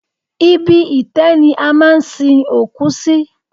Ibi itẹ́ ni a máa ń sin òkú sí.